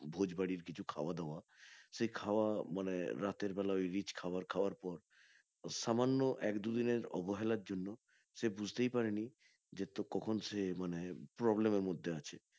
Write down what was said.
ভোজ বাড়ির কিছু খাওয়া দাওয়া সে খাওয়া মানে রাতের বেলা ওই rich খাবার খাওয়ার পর, সামান্য এক দু দিনের অবহেলার জন্য সে বুঝতে পারেনি যে কখন সে মানে problem এর মধ্যে আছে